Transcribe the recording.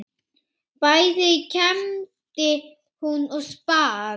Bæði kembdi hún og spann.